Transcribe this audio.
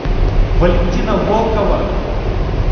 валентина волкова